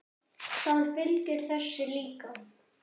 Það fylgir þessu líka.